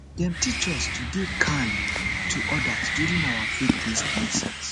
dem teach us to dey kind to others during our faithbased lessons